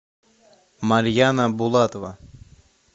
марьяна булатова